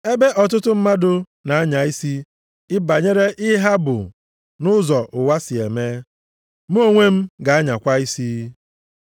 Ebe ọtụtụ mmadụ na-anya isi banyere ihe ha bụ nʼụzọ ụwa si eme. Mụ onwe m ga-anyakwa isi.